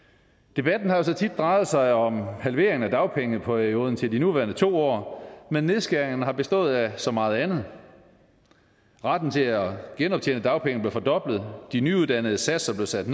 debatten har så tit drejet sig om en halvering af dagpengeperioden til de nuværende to år men nedskæringerne har bestået af så meget andet retten til at genoptjene dagpenge blev fordoblet de nyuddannedes satser blev sat